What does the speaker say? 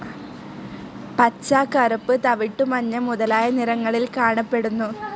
പച്ച, കറുപ്പ്, തവിട്ടു, മഞ്ഞ, മുതലായ നിറങ്ങളിൽ കാണപ്പെടുന്നു.